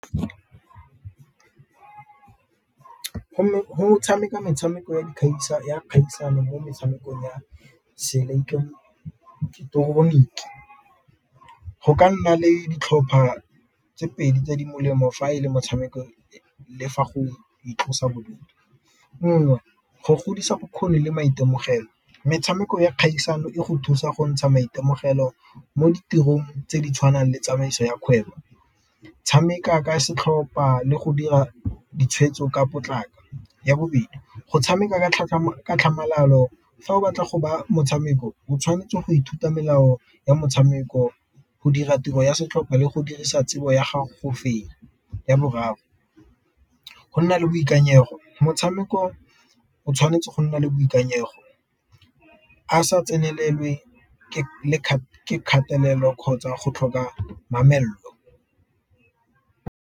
Go tshameka metshameko ya kgaisano mo metshamekong ya seileketoroniki go ka nna le ditlhopha tse pedi tse di molemo fa e le motshameko le fa go itlosa bodutu, nngwe go godisa bokgoni le maitemogelo metshameko ya kgaisano e go thusa go ntsha maitemogelo mo ditirong tse di tshwanang le tsamaiso ya kgwebo, tshameka ka setlhopa le go dira ditshwetso ka potlako. Ya bobedi go tshameka ka tlhamalalo fa o batla go ba motshameko o tshwanetse go ithuta melao ya motshameko go dira tiro ya setlhopha le go dirisa tsebo ya gago go fenya. Ya boraro go nna le boikanyego motshameko o tshwanetse go nna le boikanyego a sa tsenelelwe kgatelelo kgotsa go tlhoka mamello.